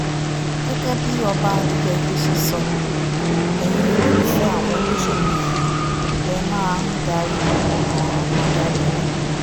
gẹ́gẹ́ bí ọba adéyẹ̀yẹ́ ṣe sọ ẹ̀yin olólùfẹ́ àwọn olóṣèlú yìí lè máa ń darí ọkàn àwọn adarí yín